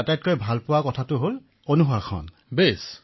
অখিলঃ মহাশয় মই এনচিচিত নিয়মানুৱৰ্তিতা আটাইতকৈ ভাল পাইছো